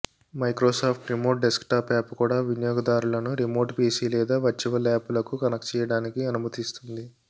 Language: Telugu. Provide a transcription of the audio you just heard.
మైక్రోసాఫ్ట్ రిమోట్ డెస్క్టాప్ యాప్ కూడా వినియోగదారులను రిమోట్ పిసి లేదా వర్చువల్ యాప్ లకు కనెక్ట్ చేయడానికి అనుమతిస్తుంది